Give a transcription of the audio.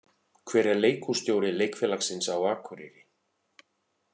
Hver er leikhússtjóri leikfélagsins á Akureyri?